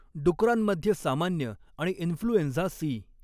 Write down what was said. डुकरांमध्ये सामान्य आणि influenza C.